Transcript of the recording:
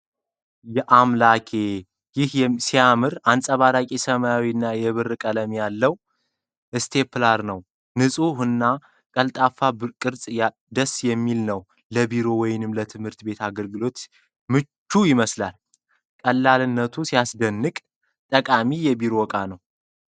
ያአምላኬ! ይህ ሲያምር! አንጸባራቂ ሰማያዊ እና የብር ቀለም ያለው ስቴፕለር ነው። ንፁህ እና ቀልጣፋ ቅርፁ ደስ የሚል ነው። ለቢሮ ወይም ለትምህርት ቤት አገልግሎት ምቹ ይመስላል። ቀላልነቱ ሲያስደንቅ! ጠቃሚ የቢሮ ዕቃ ነው።